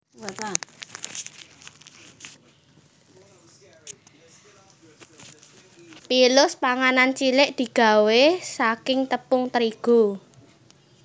Pilus panganan cilik digawé saking tepung terigu